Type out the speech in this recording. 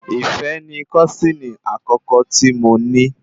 Ìfẹ́ ni kọ́sìnì àkọ́kọ́ tí mo ní